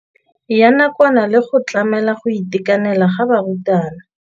Ya nakwana le go tlamela go itekanela ga barutwana.